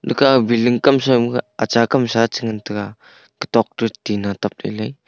ekah ah building kamsui kah acha kamsa chingantaiga kotok to tina tablelaid.